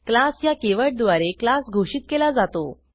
class ह्या कीवर्डद्वारे class घोषित केला जातो